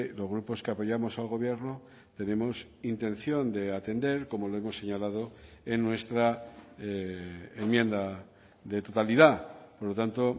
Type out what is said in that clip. los grupos que apoyamos al gobierno tenemos intención de atender como lo hemos señalado en nuestra enmienda de totalidad por lo tanto